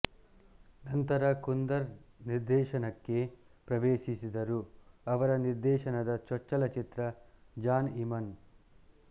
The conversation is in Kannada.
ನಂತರ ಕುಂದರ್ ನಿರ್ದೇಶನಕ್ಕೆ ಪ್ರವೆಶಿಸಿದರು ಅವರ ನಿರ್ದೇಶನದ ಚೊಚ್ಚಲ ಚಿತ್ರ ಜಾನ್ಇಮನ್